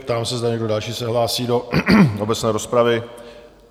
Ptám se, zda někdo další se hlásí do obecné rozpravy?